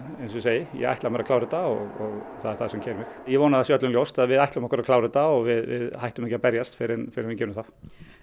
eins og ég segi ég ætla mér að klára þetta og það er það sem keyrir mig ég vona að það sé öllum ljóst að við ætlum okkur að klára þetta og við hættum ekki að berjast fyrr en fyrr en við gerum það